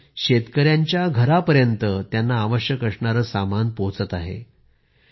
म्हणजेच शेतकऱ्यांच्या घरांपर्यंत त्यांना आवश्यक असणारे सामान पोहोचत आहे